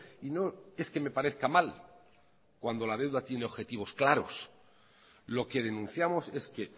y no es que me parezca mal cuando la deuda tienen objetivos claros lo que denunciamos es que